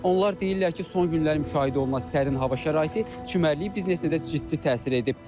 Onlar deyirlər ki, son günlər müşahidə olunan sərin hava şəraiti çimərliyi biznesinə də ciddi təsir edib.